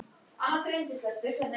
Og hún ætlar sér burt.